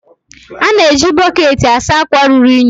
A na-eji bọketi asa akwa ruru unyi.